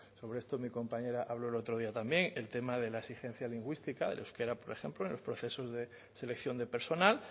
mi compañera habló el otro día también el tema de la exigencia lingüística el euskara por ejemplo en el proceso de selección de personal